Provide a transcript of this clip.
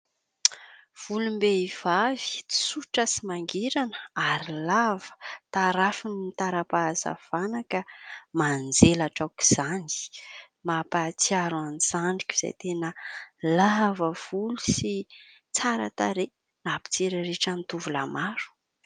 Volom-behivavy tsotra sy mangirana ary lava ; tarafin'ny tara-pahazavana ka manjelatra aoka izany. Mampahatsiaro ahy ny zandriko izay tena lavavolo sy tsara tarehy nampitsiriritra ny tovolahy maro.